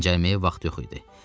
Dincəlməyə vaxt yox idi.